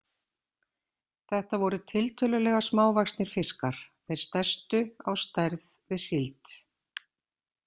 Þetta voru tiltölulega smávaxnir fiskar, þeir stærstu á stærð við síld.